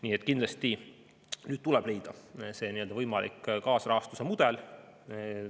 Nii et kindlasti tuleb nüüd leida võimalik kaasrahastuse mudel.